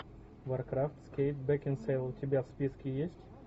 варкрафт с кейт бекинсейл у тебя в списке есть